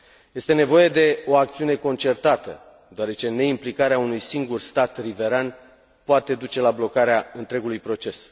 Este nevoie de o acțiune concertată, deoarece neimplicarea unui singur stat riveran poate duce la blocarea întregului proces.